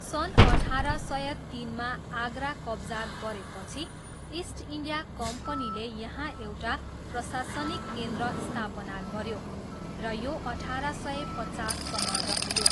सन् अठार सय तिनमा आगरा कब्जा गरेपछि, इस्ट इन्डिया कम्पनीले यहाँ एउटा प्रशासनिक केन्द्र स्थापना गऱ्यो र यो अठार सय पचाससम्म रह्यो।